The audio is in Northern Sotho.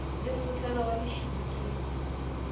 le mmutlana wa lešidi ke